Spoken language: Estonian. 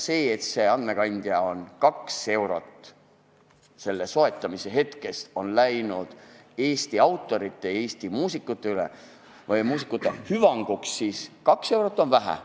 See 2 eurot, mis on selle andmekandja soetamise hetkest läinud Eesti autorite, Eesti muusika hüvanguks, on vähe.